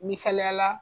Misaliyala